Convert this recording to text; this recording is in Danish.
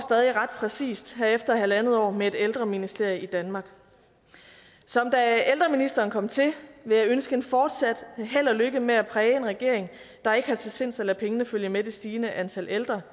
ret præcist her efter en en halv år med et ældreministerium i danmark som da ældreministeren kom til vil jeg ønske fortsat held og lykke med at præge en regering der ikke er til sinds at lade pengene følge med det stigende antal ældre